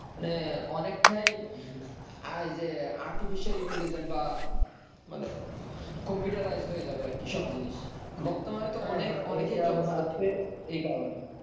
মানে অনেকটাই আইজে artificial intelligence বা মানে computerized হয়ে যাবে আরকি সব জিনিস বর্তমানে তো অনেক অনেকেই job হারাচ্ছে এই কারণে